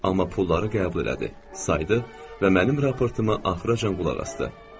Amma pulları qəbul elədi, saydı və mənim raportuma axıra qədər qulaq asdı.